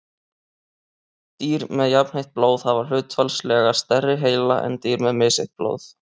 dýr með jafnheitt blóð hafa hlutfallslega stærri heila en dýr með misheitt blóð